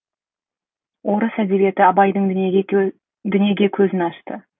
орыс әдебиеті абайдың дүниеге көзін ашты